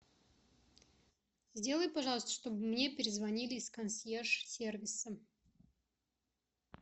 сделай пожалуйста чтобы мне перезвонили из консьерж сервиса